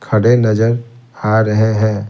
खड़े नजर आ रहे हैं।